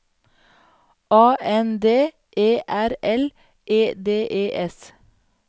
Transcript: A N D E R L E D E S